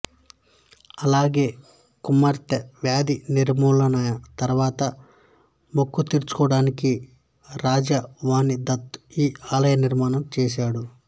అలాగే కుమార్తె వ్యాధి నిర్మూలమైన తరువాత మొక్కుతీర్చుకోవడానికి రాజావాణిదత్తు ఈ ఆలయనిర్మాణం చేసాడు